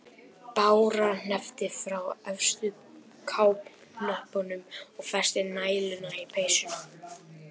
Bára hneppti frá efstu kápuhnöppunum og festi næluna í peysuna.